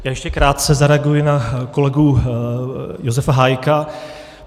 Já ještě krátce zareaguji na kolegu Josefa Hájka.